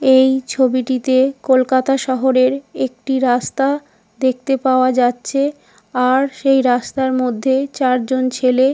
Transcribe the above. এই ছবিটিতে কোলকাতা শহরের একটি রাস্তা দেখতে পাওয়া যাচ্ছে। আর সেই রাস্তার মধ্যে চারজন ছেলে।